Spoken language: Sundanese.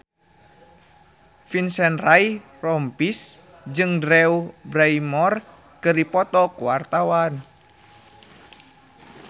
Vincent Ryan Rompies jeung Drew Barrymore keur dipoto ku wartawan